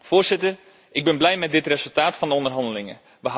Voorzitter, ik ben blij met dit resultaat van de onderhandelingen.